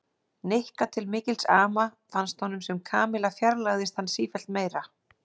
Nikka til mikils ama fannst honum sem Kamilla fjarlægðist hann sífellt meira.